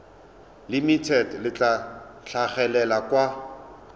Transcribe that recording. limited le tla tlhagelela kwa